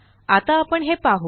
आता आपण हे पाहु